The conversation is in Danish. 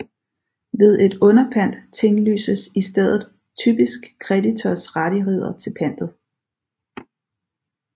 Ved et underpant tinglyses i stedet typisk kreditors rettigheder til pantet